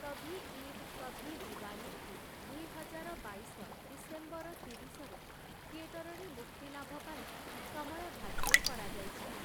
କଭି ଈଦ୍ କଭି ଦିୱାଲୀ'କୁ ଦୁଇହଜାର ବାଇଶ ଡିସେମ୍ବର ତିରିଶରେ ଥିଏଟରରେ ମୁକ୍ତିଲାଭ ପାଇଁ ସମୟ ଧାର୍ଯ୍ୟ କରାଯାଇଛି ।